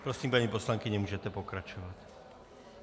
Prosím, paní poslankyně, můžete pokračovat.